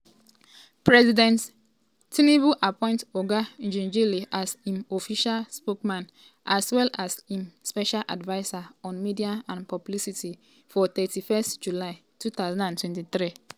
president tinubu appoint oga ngelale as im official spokesman as well as im special adviser on media and publicity for 31 july 2023. 2023.